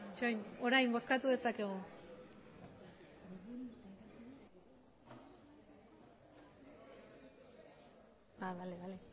emandako